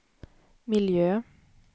miljö